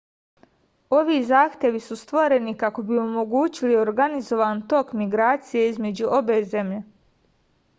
ovi zahtevi su stvoreni kako bi omogućili organizovan tok migracije između obe zemlje